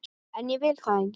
En ég vil það ekki.